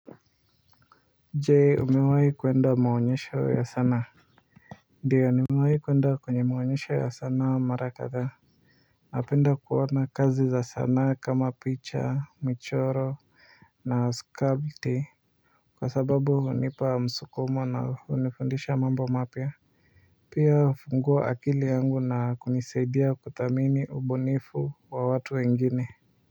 Je umewai kuenda maonyesho ya sanaa? Ndiyo nimewai kuenda kwenye maonyesho ya sanaa mara kadhaa napenda kuona kazi za sanaa kama picha michoro na skabti kwa sababu hunipa msukumo na hunifundisha mambo mapya pia hufungua akili yangu na kunisaidia kuthamini ubunifu wa watu wengine.